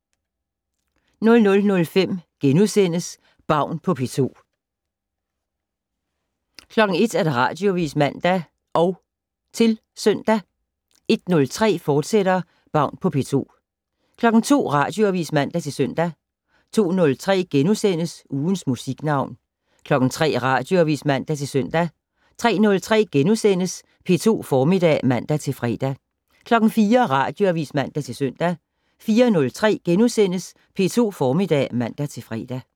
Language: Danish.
00:05: Baun på P2 * 01:00: Radioavis (man og -søn) 01:03: Baun på P2, fortsat 02:00: Radioavis (man-søn) 02:03: Ugens Musiknavn * 03:00: Radioavis (man-søn) 03:03: P2 Formiddag *(man-fre) 04:00: Radioavis (man-søn) 04:03: P2 Formiddag *(man-fre)